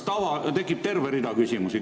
" Tekib terve rida küsimusi.